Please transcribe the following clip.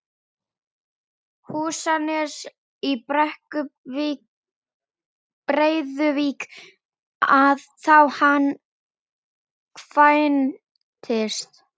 Húsanes í Breiðuvík þá hann kvæntist.